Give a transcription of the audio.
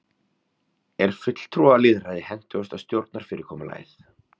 er fulltrúalýðræði hentugasta stjórnarfyrirkomulagið